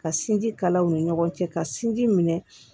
Ka sinji kalaw ni ɲɔgɔn cɛ ka sinji minɛ